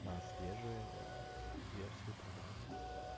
на свежие версии программы